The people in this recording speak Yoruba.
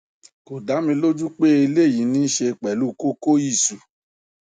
kò dá mi lójú pé eléyìí ní í ṣe pẹlú kókóìsù